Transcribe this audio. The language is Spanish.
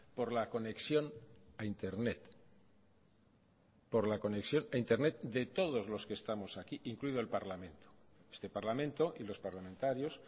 por la conexión a internet de todos los que estamos aquí incluido el parlamento este parlamento y los parlamentarios